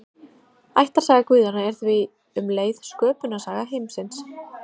Ættarsaga guðanna er því um leið sköpunarsaga heimsins.